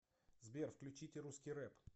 сбер включите русский рэп